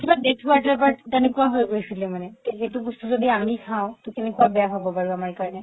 কিবা সেনেকুৱা হয় গৈছিলে মানে তে সেইটো বস্তু যদি আমি খাও তৌ কেনেকুৱা বেয়া হ'ব বাৰু আমাৰ কাৰণে